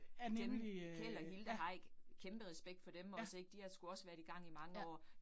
Dem, Keld og Hilda Heick, kæmpe respekt for dem også ik, de har sgu også været i gang i mange år